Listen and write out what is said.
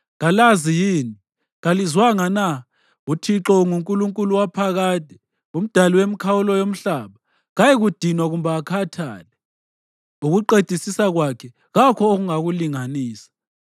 Kalazi yini? Kalizwanga na? UThixo unguNkulunkulu waphakade, uMdali wemikhawulo yomhlaba. Kayikudinwa kumbe akhathale, ukuqedisisa kwakhe kakho ongakulinganisa.